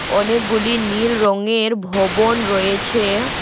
অনেকগুলি নীল রঙের ভবন রয়েছে।